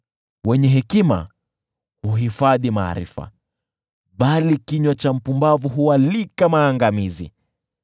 Wenye hekima huhifadhi maarifa, bali kinywa cha mpumbavu hualika maangamizi.